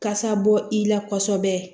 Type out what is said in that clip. Kasa bɔ i la kosɛbɛ